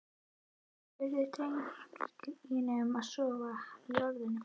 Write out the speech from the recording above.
spurði drengurinn og sofnaði í orðinu.